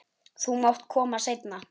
Þú mátt koma seinna.